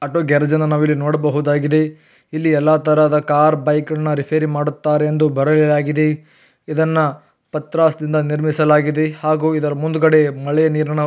ಇದು Kailas auto work ಎಂದು auto ಗ್ಯಾರೇಜ್ಅನ್ನು ಇಲ್ಲಿ ನಾವು ನೋಡಬಹುದಾಗಿದೆ ಇಲ್ಲಿ ಎಲ್ಲಾ ತರಹದ ಕಾರ್ ಬೈಕ್ ಅನ್ನು ರಿಪೇರಿ ಮಾಡುತ್ತಾರೆ ಎಂದು ಬರೆಯಲಾಗಿದೆ ಇದನ್ನ ಪತ್ರ--